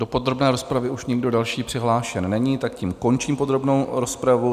Do podrobné rozpravy už nikdo další přihlášen není, tak tím končím podrobnou rozpravu.